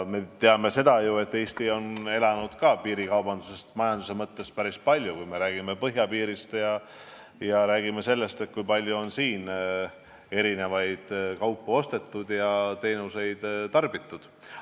Me teame, et Eesti on ka päris palju piirikaubanduse tuludest elanud, kui me räägime põhjapiirist ja sellest, kui palju on siit kaupu ostetud ja siin teenuseid tarbitud.